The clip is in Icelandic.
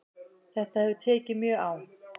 Þetta hefur tekið mjög á